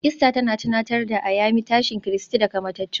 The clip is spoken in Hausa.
Easter tana tunatar da Ayami tashin Kristi daga matattu